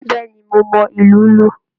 Bẹẹni, mo mọ ilù lu.